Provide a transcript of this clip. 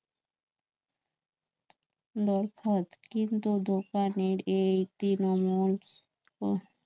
নরফত কিন্তু দোকানের এই তৃণমূল ওহ